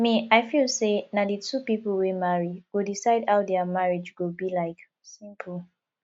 me i feel say na the two people wey marry go decide how dia marriage go be like simple